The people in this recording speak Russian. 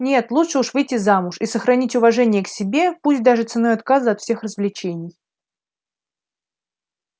нет лучше уж выйти замуж и сохранить уважение к себе пусть даже ценой отказа от всех развлечений